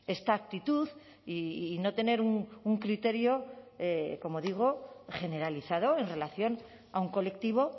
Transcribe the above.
esta actitud y no tener un criterio como digo generalizado en relación a un colectivo